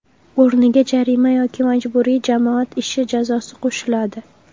o‘rniga jarima yoki majburiy jamoat ishi jazosi qo‘shiladi.